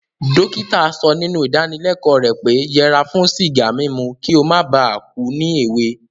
Dókítà so nínú ìdáníleko rẹ̀ pé yẹra fún sìgá mímu ki o mó ba ku ni èwe